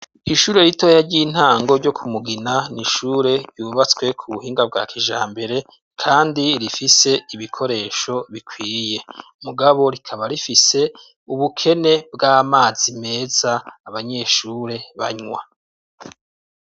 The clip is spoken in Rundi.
Ishure ritoya ry'intango ryo kumugina n'ishure ryubatswe ku buhinga bwa kijambere kandi rifise ibikoresho bikwiye mugabo rikaba rifise ubukene bw'amazi meza abanyeshure banywa.